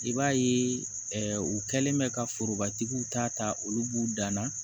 I b'a ye u kɛlen bɛ ka forobatigiw ta ta olu b'u dan na